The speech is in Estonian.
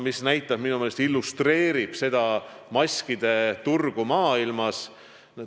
Minu meelest see illustreerib hästi maskiturgu maailmas.